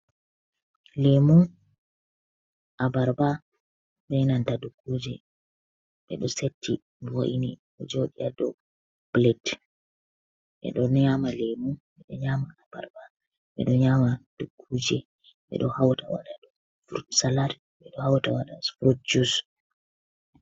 Lemu, abarba, benanta dukkuje ɓe ɗo seti vo'ini ɗo joɗi ha do plat ɓe ɗo nyama lemu, ɓe ɗo nyama abarba, ɓeɗo nyama dukkuje, ɓe ɗo hauta waɗa do frutsalat ɓe ɗo hauta waɗa frut jus.